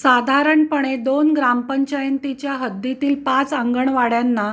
साधारणपणे दोन ग्रामपंचायतीच्या हद्दीतील पाच अंगणवाड्यांना